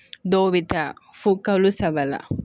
Dɔw bɛ taa fo kalo saba la